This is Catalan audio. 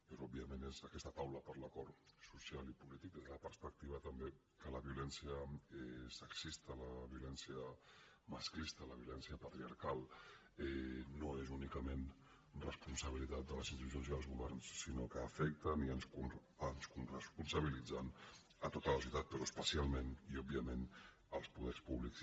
però òbviament és aquesta taula per l’acord social i polític des de la perspectiva també que la violència sexista la violència masclista la violència patriarcal no és únicament responsabilitat de les institucions i els governs sinó que afecta i ens coresponsabilitza a tota la societat però especialment i òbviament als poders públics